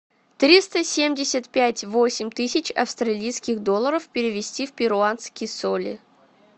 триста семьдесят пять восемь тысяч австралийских долларов перевести в перуанские соли